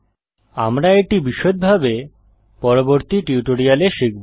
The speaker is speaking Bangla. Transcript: আমরা এটি বিশদভাবে পরবর্তী টিউটোরিয়ালে দেখব